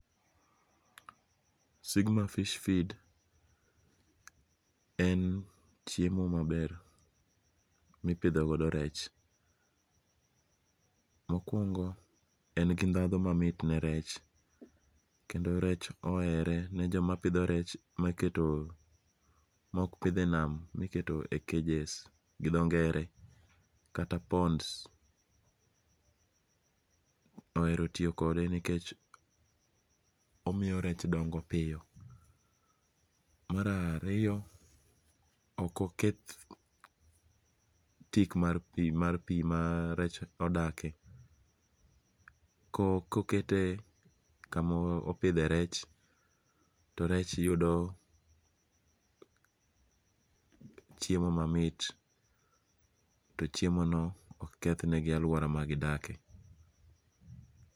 Sigma fish feed en chiemo maber mipitho godo rech, mokuongo en gi ndhadho mamit ne rech, kendo rech ohere jomapitho rech ma ok pithe nam miketo e yi cages gi dho nge're kata ponds ohero tiyo kade nikech omiyo rech dongo piyo. Mar ariyo omiyo ok oketh tik mar pi ma rech odakie, koket kama opithe rech to rech yudo chiemo mamit to chiemono ok kethnegi aluora magidakie.